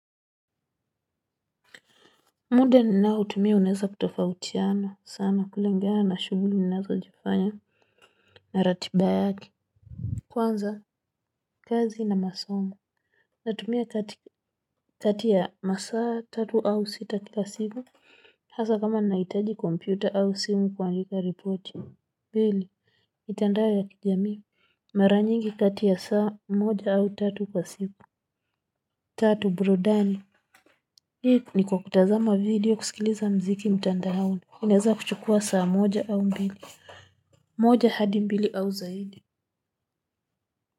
Muda ninaotumia unaeza kutofautiana sana kulingana na shughuli ninazozifanya na ratiba yake kwanza kazi na masomo natumia kati kati ya masaa tatu au sita kila siku hasaa kama nahitaji kompyuta au simu kuandika ripoti pili mitandao ya kijamii mara nyingi kati ya saa mmoja au tatu kwa siku tatu burudani hii ni kwa kutazama video kusikiliza mziki mtandao inaweza kuchukua saa moja au mbili, moja hadi mbili au zaidi.